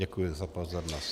Děkuji za pozornost.